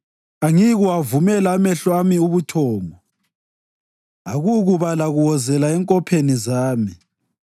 angiyikuwavumela amehlo ami ubuthongo, akukuba lakuwozela enkopheni zami,